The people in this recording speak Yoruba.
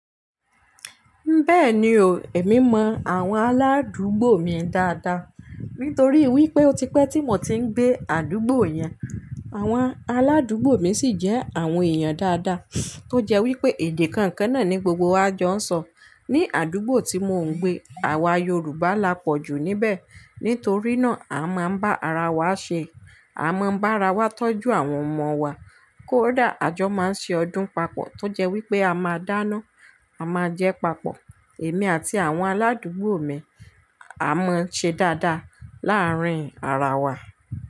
Bẹ́ẹ̀ni o, èmi mọ àwọn aládùúgbò mi dáadáa, nítorí wípé ó ti pẹ́ tí mo ti ń gbé àdúgbò yẹn. Àwọn aládùúgbò mi sì jẹ́ àwọn èèyàn dáadáa, tó jẹ́ wípé èdè kankan náà ní gbogbo wa jọ ń sọ. Ni àdúgbò tí mò ń gbé, àwa Yorùbá la pọ̀jù níbẹ̀. Nítorí náà, a máa ń bá ara wa ṣe, a máa ń bá ara wa tọ́jú àwọn ọmọ wa. Kódà àjọ máa ń ṣe ọdún papọ̀ tó jẹ́ wípé a máa dáná, a máa jẹ papọ̀. Èmi àti àwọn aládùúgbò mi a mọ ṣe dáadáa láàárín ara wa.